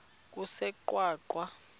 kusengwaqa